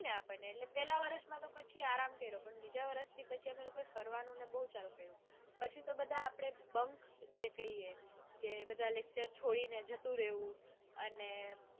આપણને એટલા પેલા વરસ્માતો પછી આરામ કર્યો પણ વરસથી પછી અમે લોકોએ ફરવાનુંને એ બઉ ચાલુ કર્યું. પછી તો આપડે બધા બક કૈયે કે બધા lecture છોડીને અને